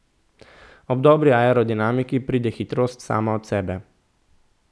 Ob dobri aerodinamiki, pride hitrost sama od sebe.